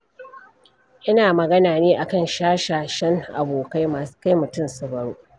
Ina magana ne a kan shashashan abokai masu kai mutum su baro.